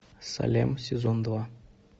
салем сезон два